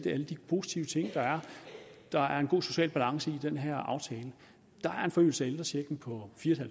alle de positive ting der er der er en god social balance i den her aftale der er en forøgelse af ældrechecken på fire